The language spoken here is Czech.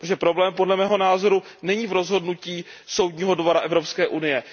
Protože problém, dle mého názoru, není v rozhodnutí Soudního dvora Evropské unie.